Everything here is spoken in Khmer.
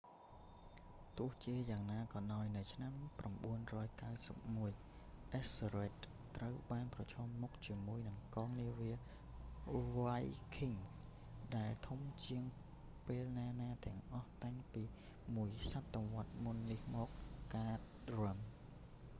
ទោះជាយ៉ាងណាក៏ដោយ នៅឆ្នាំ 991 អិសស៊ើររេដ ethelred ត្រូវបានប្រឈមមុខជាមួយនឹងកងនាវាវ៉ៃឃីង viking ដែលធំជាងពេលណាៗទាំងអស់តាំងពីមួយសតវត្សរ៍មុននេះរបស់ហ្គាតរឹម guthrum